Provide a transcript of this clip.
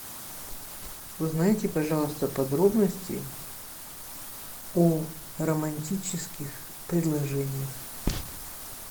узнайте пожалуйста подробности о романтических предложениях